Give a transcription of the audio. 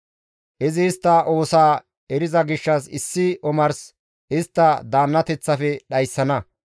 Izi istta oosaa eriza gishshas issi omars istta daannateththafe dhayssana.